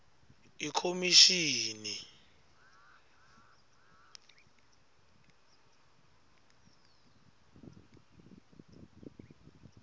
ikhomishini